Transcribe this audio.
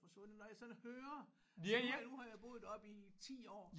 Forsvundet når jeg sådan hører nu har jeg nu har jeg boet deroppe i 10 år